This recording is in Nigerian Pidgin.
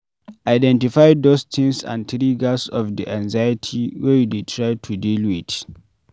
Identify those things and triggers of di anxiety wey you dey try to deal with